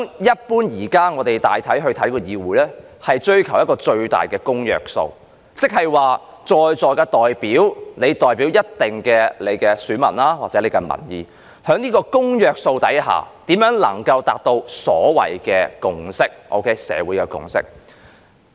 一般對議會的看法是，大家追求一個最大公約數；即議事堂上的代表，各自代表着一定的選民數目或民意，在這個公約數下，大家如何能夠達到共識或社會共識？